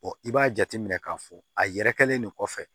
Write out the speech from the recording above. i b'a jateminɛ k'a fɔ a yɛrɛ kɛlen de kɔfɛ